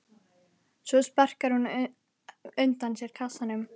Svo sparkar hún undan sér kassanum.